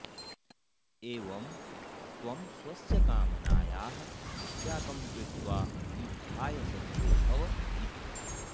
एवं त्वं स्वस्य कामनायाः त्यागं कृत्वा युद्धाय सज्जो भव इति